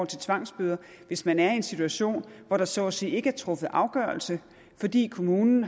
til tvangsbøder hvis man er i en situation hvor der så at sige ikke er truffet afgørelse fordi kommunen